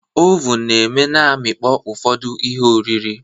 Ovun eme na amịkpọ ufodu ihe oriri